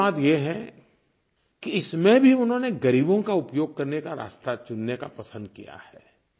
दुःख की बात ये है कि इसमें भी उन्होंने ग़रीबों का उपयोग करने का रास्ता चुनने का पसंद किया है